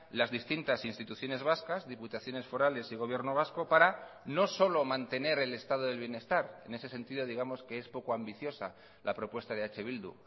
las distintas instituciones vascas diputaciones forales y gobierno vasco para no solo mantener el estado del bienestar en ese sentido digamos que es poco ambiciosa la propuesta de eh bildu